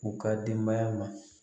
U ka denbaya ma